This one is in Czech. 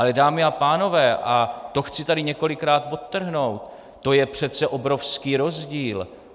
Ale dámy a pánové, a to chci tady několikrát podtrhnout, to je přece obrovský rozdíl.